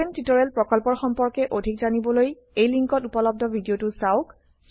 spoken tutorial প্ৰকল্পৰ সম্পৰ্কে অধিক জানিবলৈ লিঙ্কত উপলব্ধ ভিডিওটো চাওক